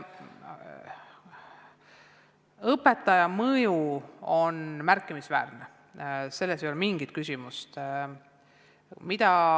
Õpetaja mõju õpilasele on märkimisväärne, selles ei ole mingit küsimust.